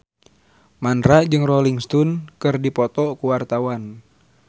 Mandra jeung Rolling Stone keur dipoto ku wartawan